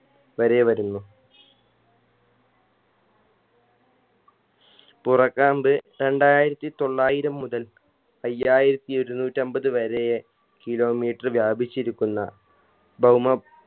വരേ വരുന്നു പുറകാമ്പ് രണ്ടായിരത്തി തൊള്ളായിരം മുതൽ അയ്യായിരത്തി ഇരുന്നൂറ്റമ്പത് വരേ kilometer വ്യാപിച്ചിരിക്കുന്ന ഭൗമ